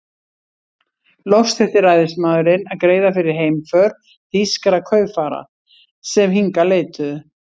Loks þurfti ræðismaðurinn að greiða fyrir heimför þýskra kaupfara, sem hingað leituðu.